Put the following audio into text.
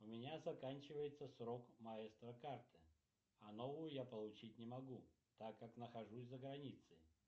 у меня заканчивается срок маэстро карты а новую я получить не могу так как нахожусь за границей